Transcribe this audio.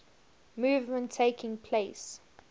movement taking place